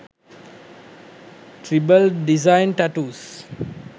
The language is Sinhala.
tribal design tattoos